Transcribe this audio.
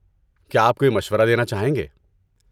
کیا آپ کوئی مشورہ دینا چاہیں گے؟